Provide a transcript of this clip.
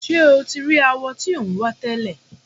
Ṣé o ti rí awọ tí ò ń wá tẹ́lẹ̀?